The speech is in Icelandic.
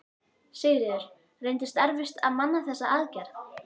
Sigríður: Reyndist erfitt að manna þessa aðgerð?